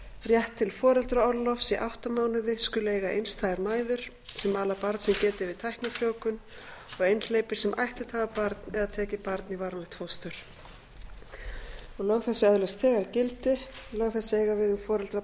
rétt til foreldraorlofs í átta mánuði skulu eiga einstæðar mæður sem ala barn sem getið er við tæknifrjóvgun og einhleypir sem ættleitt hafa barn eða tekið barn í varanlegt fóstur fimmtu grein lög þessi öðlast þegar gildi lög þessi eiga við um foreldra